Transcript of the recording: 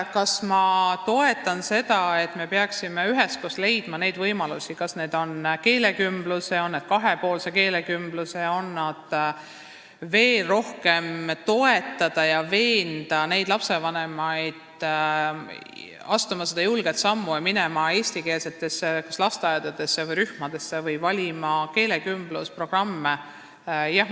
Kas ma toetan seda, et me peaksime üheskoos leidma kas keelekümbluse või kahepoolse keelekümbluse võimalusi ning veel rohkem toetama ja veenma lapsevanemaid, et nad astuksid selle julge sammu ja valiksid oma lastele eestikeelse lasteaiarühma või keelekümblusprogrammi?